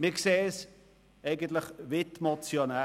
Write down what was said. Wir sehen es eigentlich wie die Motionäre.